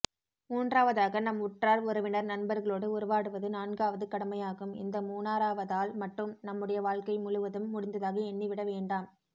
மூன்றாவதாக நம் உற்றார் உறவினர் நண்பர்களோடு உறவாடுவது நான்காவது கடமையாகும் இந்த மூனாறாவதால்மட்டும் நம்முடைய வாழ்க்கை முழுவதும் முடிந்ததாக எண்ணிவிடவேண்டாம்